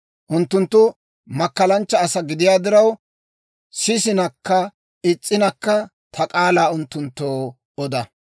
Unttunttu makkalanchcha asaa gidiyaa diraw, sisinakka is's'inakka, ta k'aalaa unttunttoo oda.